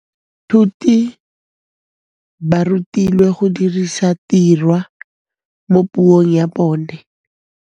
Baithuti ba rutilwe go dirisa tirwa mo puong ya bone.